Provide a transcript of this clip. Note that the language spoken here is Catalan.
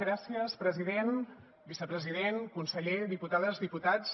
gràcies president vicepresident conseller diputades diputats